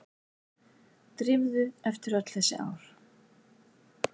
Drífu eftir öll þessi ár.